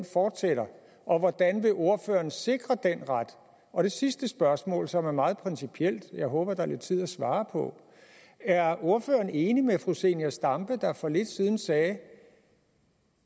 fortsætter og hvordan vil ordføreren sikre den ret og det sidste spørgsmål som er meget principielt jeg håber at der er lidt tid at svare på er ordføreren enig med fru zenia stampe der for lidt siden sagde at